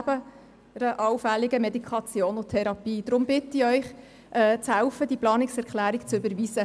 Deshalb bitte ich Sie mitzuhelfen, diese Planungserklärung zu überweisen.